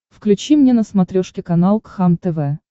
включи мне на смотрешке канал кхлм тв